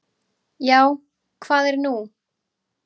"""Já, hvað er nú?"""